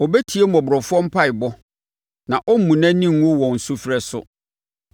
Ɔbɛtie mmɔborɔfoɔ mpaeɛbɔ; na ɔremmu nʼani ngu wɔn sufrɛ so.